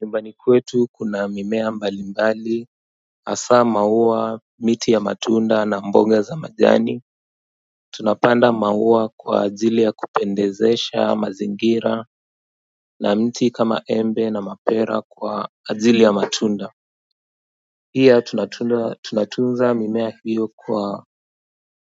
Nyumbani kwetu kana mimea mbalimbali hasaa maua miti ya matunda na mboga za majani. Tunapanda maua kwa ajili ya kupendezesha mazingira na mti kama embe na mapera kwa ajili ya matunda pia tunatunda tunatunza mimea hiyo kwa